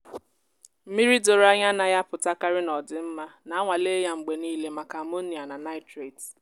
mmiri doro anya anaghị apụtakarị na ọ dị mma. na-anwale ya mgbe niile maka ammonia na nitrite.